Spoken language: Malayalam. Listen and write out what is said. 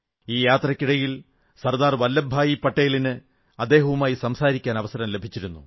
ഈ യാത്രയ്ക്കിടയിൽ സർദാർ വല്ലഭ് ഭായി പട്ടേലിന് അദ്ദേഹവുമായി സംസാരിക്കാൻ അവസരം ലഭിച്ചു